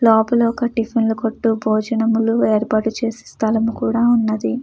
లోపల ఒక టిఫిన్ కొట్టు భోజనములు ఏర్పాటు చేసే స్థలము కూడ ఉంది.